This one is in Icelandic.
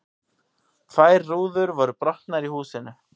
Tvær rúður voru brotnar í húsinu